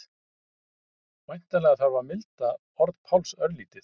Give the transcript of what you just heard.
Væntanlega þarf að milda orð Páls örlítið.